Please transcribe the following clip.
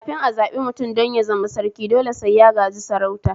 Kafin a zaɓi mutum don ya zama Sarki dole sai ya gaji sarauta